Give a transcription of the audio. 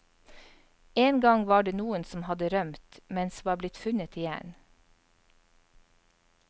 En gang var det noen som hadde rømt, men som var blitt funnet igjen.